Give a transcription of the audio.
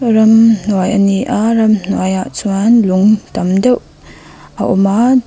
ramhnuai ani a ramhnuai ah chuan lung tam deuhb a awm a.